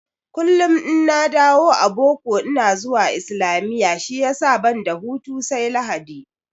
Kullum in na dawo a boko ina zuwa islamiyya shiyasa banda hutu sai Lahadi